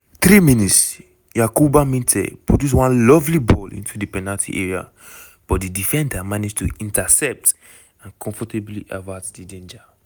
3 mins - yankuba minteh produce one lovely ball into di penalty area but di defender manage to intercept and comfortably avert di danger.